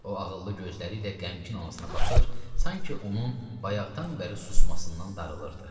O, ağıllı gözləri ilə qəmgin anasına baxır, sanki onun bayaqdan bəri susmasından darılırdı.